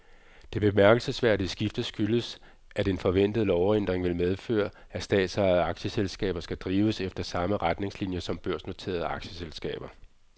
Det bemærkelsesværdige skifte skyldes, at en forventet lovændring vil medføre, at statsejede aktieselskaber skal drives efter samme retningslinier som børsnoterede aktieselskaber.